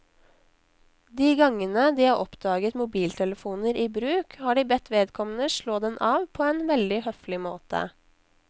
De gangene de har oppdaget mobiltelefoner i bruk, har de bedt vedkommende slå den av på en veldig høflig måte.